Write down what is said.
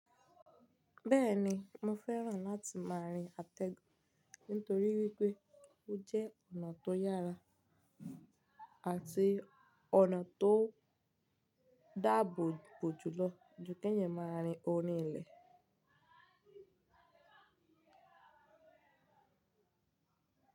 Bẹ́ẹ̀ni, mo fẹ́ràn láti máa rin àtẹ nítorí wípé ó jẹ́ ọ̀nà tó yára àti ọ̀nà tó dáàbò bò jù lọ ju kí ènìyàn máa rin orí ilẹ̀.